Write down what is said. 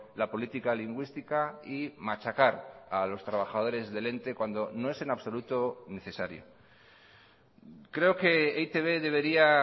la política lingüística y machacar a los trabajadores del ente cuando no es en absoluto necesario creo que e i te be debería